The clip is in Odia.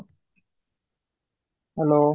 hello